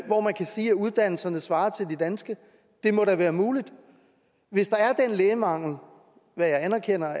hvor man kan sige at uddannelserne svarer til de danske det må da være muligt hvis der er den lægemangel hvad jeg anerkender